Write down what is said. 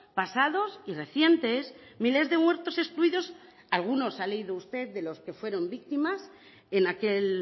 pasados y recientes miles de muertos excluidos algunos ha leído usted de los que fueron víctimas en aquel